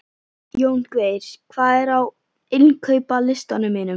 Jóngeir, hvað er á innkaupalistanum mínum?